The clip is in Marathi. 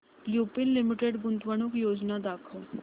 लुपिन लिमिटेड गुंतवणूक योजना दाखव